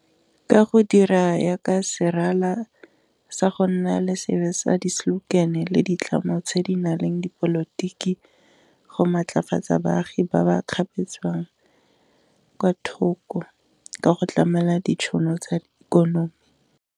Ka go dira yaka serala sa go nna le seabe sa di slogan le ditlamo tse di na leng dipolotiki, go maatlafatsa baagi ba ba kgapetswang kwa thoko ka go tlamela ditšhono tsa ikonomi.